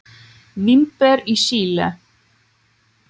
Vínber í Síle.